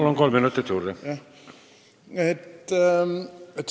Palun, kolm minutit juurde!